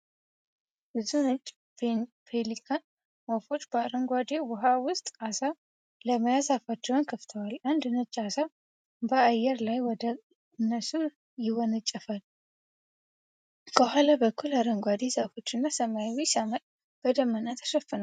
ብዙ ነጭ ፔሊካን ወፎች በአረንጓዴ ውሃ ውስጥ ዓሣ ለመያዝ አፋቸውን ከፍተዋል። አንድ ነጭ ዓሣ በአየር ላይ ወደ እነሱ ይወነጨፋል። ከኋላ በኩል አረንጓዴ ዛፎችና ሰማያዊ ሰማይ በደመና ተሸፍኗል።